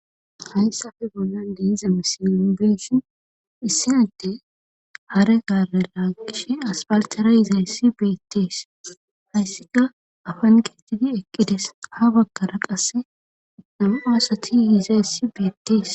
hayssafe bollan diiza misilileshin issinatte hare gabera gishe aspaltara izayssi beettees hayssika afan geettidi eqqides ha baggara qasse amu aasati yizayssi beettees